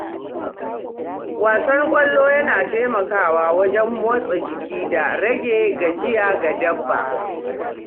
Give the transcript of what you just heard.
Wasan ƙwallo yana taimakawa wajen motsa jiki da rage gajiya ga dabbobi.